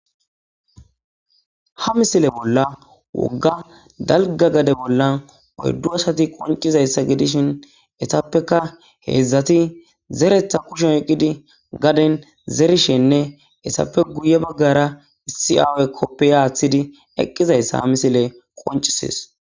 Ha misile bolla wogga dalgga gade bolla oyddu asati qoncizayssa gidishin etappeka heedzdzati zeretha kushon oyqqidi gaden zerishenne hesappe guye baggara issi aaway koppiya aaththidi eqqizayssa ha misile qoncisees.